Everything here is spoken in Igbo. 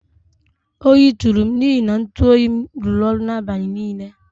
Oyi tụrụm n'ihi na ntụ oyim rụrụ ọrụ n'abalị niile